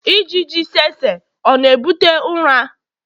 ijiji tsetse ọ na-ebute ụra?